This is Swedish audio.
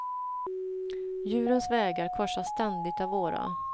Djurens vägar korsas ständigt av våra.